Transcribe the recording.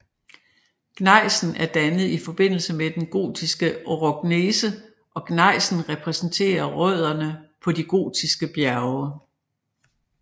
Gnejsen er dannet i forbindelse med den Gothiske orogenese og gnejsen repræsenterer rødderne på de gothiske bjerge